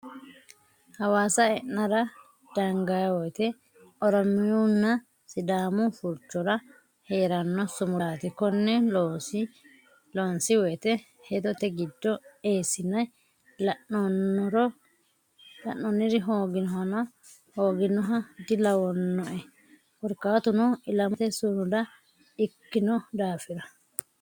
Hawaasa e'nara danga woyte oromiyunna sidaamu furchora heerano sumudati konne loonsi woyte hedote giddo eessine la'nonnori hooginoha dilawanoe korkaatuno ilamate sumuda ikkino daafira.